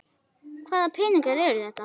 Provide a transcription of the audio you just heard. Hvaða peningar eru þetta?